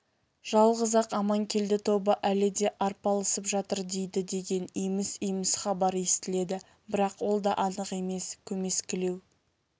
жалғыз-ақ аманкелді тобы әлі де арпалысып жатыр дейді деген еміс-еміс хабар естіледі бірақ ол да анық емес көмескілеу